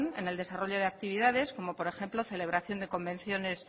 en el desarrollo de actividades como por ejemplo celebración de convenciones